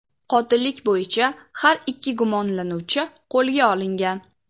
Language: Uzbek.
Qotillik bo‘yicha har ikki gumonlanuvchi qo‘lga olingan.